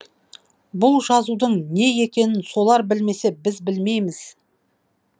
бұл жазудың не екенін солар білмесе біз білмейміз